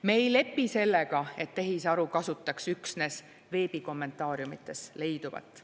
Me ei lepi sellega, et tehisaru kasutaks üksnes veebi kommentaariumides leiduvat.